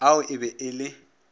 ao e be e le